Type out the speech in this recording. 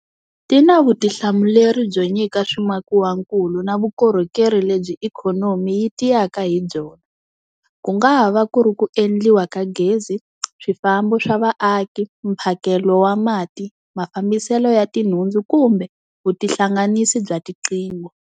Ti na vutihlamuleri byo nyika swimakiwakulu na vukorhokeri lebyi ikhonomi yi tiyaka hi byona, ku nga va ku ri ku endliwa ka gezi, swifambo swa vaaki, mphakelo wa mati, mafambiselo ya tinhundzu kumbe vutihlanganisi bya tiqingho.